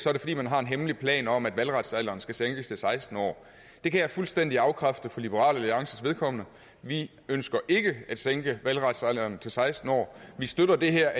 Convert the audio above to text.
er det fordi man har en hemmelig plan om at valgretsalderen skal sænkes til seksten år det kan jeg fuldstændig afkræfte for liberal alliances vedkommende vi ønsker ikke at sænke valgretsalderen til seksten år vi støtter det her